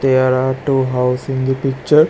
There are two house in the picture.